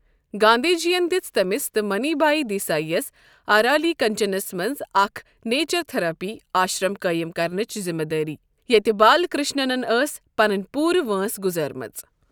گاندھی جٮین دِژ تٔمِس تہٕ منی بھایی دیساییَس ارالی کنچنَس منٛز اکھ نیچر تھراپی آشرم قٲیِم کرنٕچ ذِمہِ دٲری ییٚتہِ بال کرشنن ٲس پنٕنۍ پوٗرٕ وٲنٛس گزٲرمٕژ۔